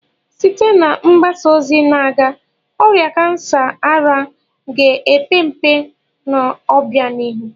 Site na mgbasa ozi na-aga, ọrịa kansa ara ga-epe mpe n'obianihu.